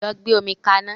Lọ gbe omi ka ná!